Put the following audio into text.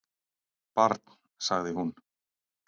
"""Barn, sagði hún."""